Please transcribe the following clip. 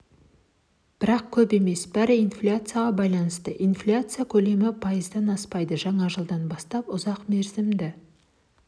бірақ көп емес бәрі инфляцияға байланысты инфляция көлемі пайыздан аспайды жаңа жылдан бастап ұзақ мерзімді